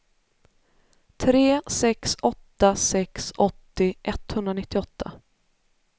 tre sex åtta sex åttio etthundranittioåtta